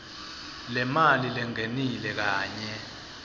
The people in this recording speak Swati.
lemali lengenile kanye